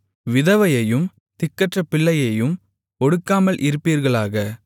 விதவையையும் திக்கற்ற பிள்ளையையும் ஒடுக்காமல் இருப்பீர்களாக